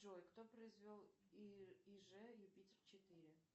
джой кто произвел иж юпитер четыре